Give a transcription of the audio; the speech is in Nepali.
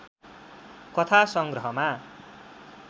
कथा संग्रह‎मा